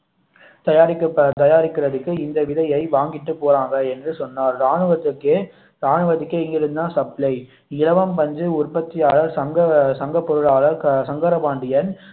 தயாரிக்~ தயாரிப்பதற்கு இந்த விதையை வாங்கிட்டு போறாங்க என்று சொன்னார் ராணுவத்திற்கே ராணுவத்திற்கே இங்கிருந்து தான் சப்ளை இலவம் பஞ்சு உற்பத்தியாளர் சங்க சங்க பொருளாளர் சங்கர பாண்டியன்